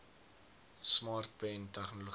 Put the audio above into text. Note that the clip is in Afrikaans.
smart pen tegnologie